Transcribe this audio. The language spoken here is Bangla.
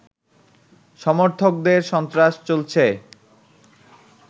সমর্থকদের সন্ত্রাস চলছে